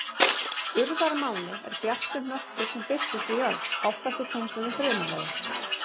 Urðarmáni er bjartur hnöttur sem birtist við jörð, oftast í tengslum við þrumuveður.